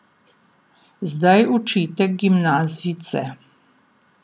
Zdaj učite gimnazijce.